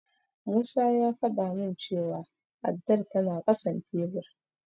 Musa ya faɗa min cewa addar tana ƙasan tebur.